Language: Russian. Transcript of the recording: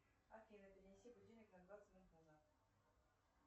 афина перенеси будильник на двадцать минут назад